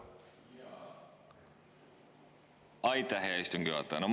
Aitäh, hea istungi juhataja!